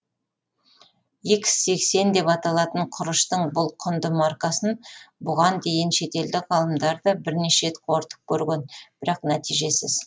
икс сексен деп аталатын құрыштың бұл құнды маркасын бұған дейін шетелдік ғалымдар да бірнеше рет қорытып көрген бірақ нәтижесіз